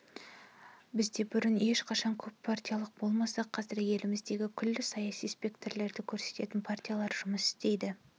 бізде бұрын ешқашан көппартиялылық болмаса қазір еліміздегі күллі саяси спектрді көрсететін партиялар жұмыс істейді